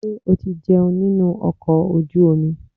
Ṣé o ti jẹun nínú ọkọ̀ ojú omi?